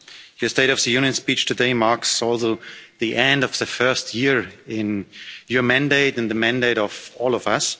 Your State of the Union speech today marks the end of the first year of your mandate and the mandate of all of us.